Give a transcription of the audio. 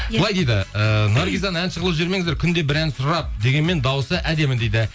былай дейді ііі наргизаны әнші қылып жібермеңіздер күнде бір ән сұрап дегенмен дауысы әдемі дейді